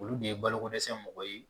Olu de ye balokodɛsɛnmɔgɔ ye.